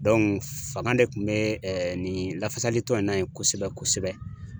fanga de kun be nin lafasali tɔn in na ye kosɛbɛ kosɛbɛ.